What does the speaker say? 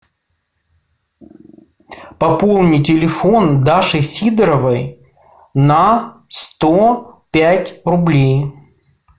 пополни телефон даши сидоровой на сто пять рублей